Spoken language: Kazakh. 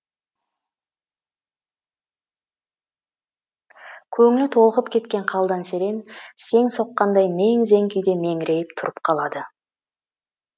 көңілі толқып кеткен қалдан серен сең соққандай мең зең күйде меңірейіп тұрып қалады